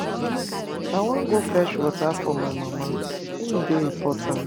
I wan go fetch water for my mama, im dey important.